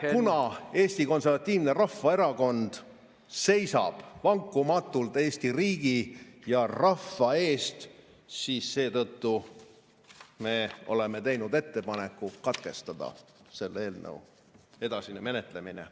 Ja kuna Eesti Konservatiivne Rahvaerakond seisab vankumatult Eesti riigi ja rahva eest, siis me oleme teinud ettepaneku katkestada selle eelnõu edasine menetlemine.